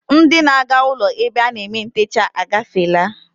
Ndị na-aga ụlọ ebe a na-eme ntecha agafeela